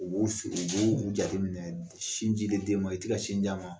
U b'u sigi u b'u jateminɛ sinji di den ma i tɛ ka sin d'a ma